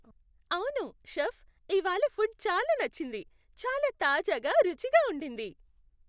అవును, షెఫ్, ఇవాళ ఫుడ్ చాలా నచ్చింది. చాలా తాజాగా, రుచిగా ఉండింది.